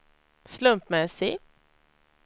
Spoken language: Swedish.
slumpmässig